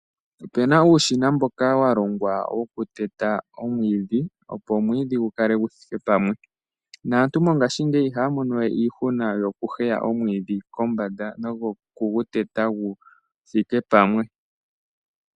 Opena uushina mboka walongwa wo ku teta omwiidhi opo omwiidhi gukale guthike pamwe, naantu mongashingeyi ihaya mono we iihuna yo ku heya omwiidhi kombanda no ku gu teta guthike pamwe.